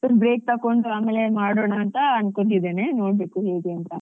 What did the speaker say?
ಸ್ವಲ್ಪ break ತೊಗೊಂಡು ಆಮೇಲೆ ಮಾಡೋಣಾ ಅಂತ ಅನ್ಕೊಂಡಿದ್ದೇನೆ ನೋಡ್ಬೇಕು ಹೇಗೆ ಅಂತ.